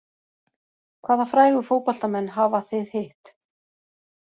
Hvaða frægu fótboltamenn hafa þið hitt?